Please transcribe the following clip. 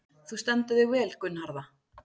Þú stendur þig vel, Gunnharða!